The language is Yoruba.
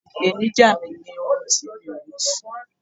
ipenija mi ni orun tí mi o ri sun